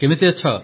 କେମିତି ଅଛ